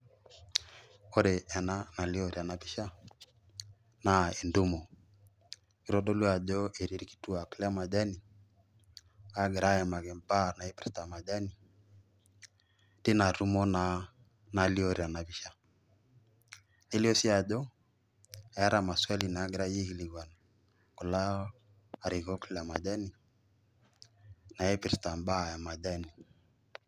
Oore ena anlio teeena pisha naa entumo. Kitodolu aajo etii irkituak le majani, ogira aimaki majani, teian tumo naa nalio teena pisha. Nelio sii aajo eeta mawali nagirae aikilikuanu, kulo arikok le majani, naipirta imbaa e majani.